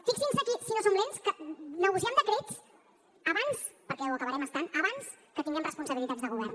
fixin se si no som lents que negociem decrets abans perquè ho acabarem estant abans que tinguem responsabilitats de govern